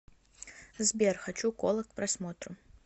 сбер хочу кола к просмотру